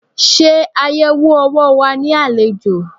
Ṣe ayẹwo owó wa ní àlejò.